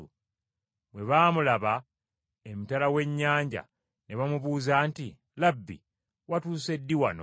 Bwe baamulaba emitala w’ennyanja ne bamubuuza nti, “Labbi, watuuse ddi wano?”